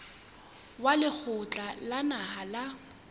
wa lekgotla la naha la